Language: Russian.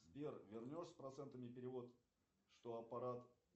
сбер вернешь с процентами перевод что аппарат